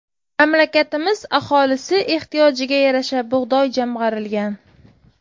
Mamlakatimiz aholisi ehtiyojiga yarasha bug‘doy jamg‘arilgan.